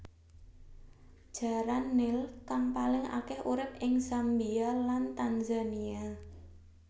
Jaran nil kang paling akèh urip ing Zambia lan Tanzania